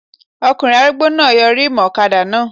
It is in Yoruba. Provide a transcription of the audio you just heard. Ọkùnrin arúgbó náà yọ rímùù ọ̀kadà náà